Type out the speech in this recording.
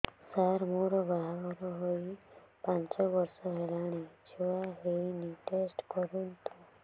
ସାର ମୋର ବାହାଘର ହେଇ ପାଞ୍ଚ ବର୍ଷ ହେଲାନି ଛୁଆ ହେଇନି ଟେଷ୍ଟ କରନ୍ତୁ